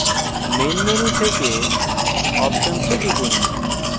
main মুখ্য menu থেকে options এ টিপুন